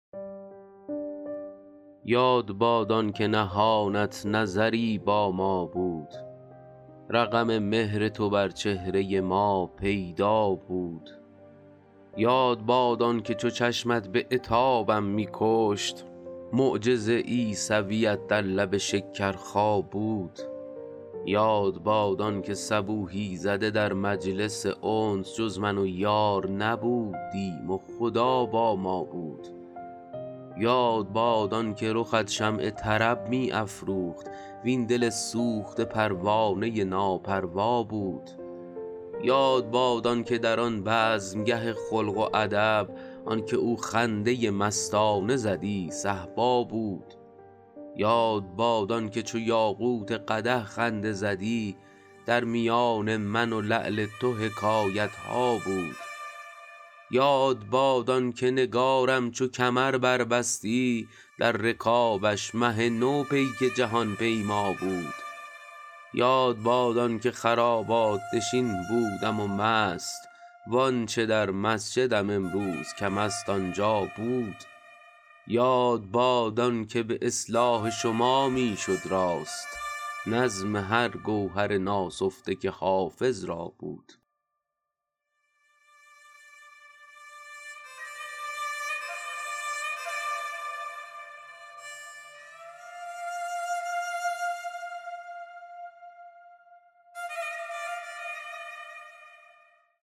یاد باد آن که نهانت نظری با ما بود رقم مهر تو بر چهره ما پیدا بود یاد باد آن که چو چشمت به عتابم می کشت معجز عیسویت در لب شکرخا بود یاد باد آن که صبوحی زده در مجلس انس جز من و یار نبودیم و خدا با ما بود یاد باد آن که رخت شمع طرب می افروخت وین دل سوخته پروانه ناپروا بود یاد باد آن که در آن بزمگه خلق و ادب آن که او خنده مستانه زدی صهبا بود یاد باد آن که چو یاقوت قدح خنده زدی در میان من و لعل تو حکایت ها بود یاد باد آن که نگارم چو کمر بربستی در رکابش مه نو پیک جهان پیما بود یاد باد آن که خرابات نشین بودم و مست وآنچه در مسجدم امروز کم است آنجا بود یاد باد آن که به اصلاح شما می شد راست نظم هر گوهر ناسفته که حافظ را بود